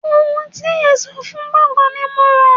Ohun èlò ẹ̀ṣọ́ fún gbọ̀ngán ni mò ń rà.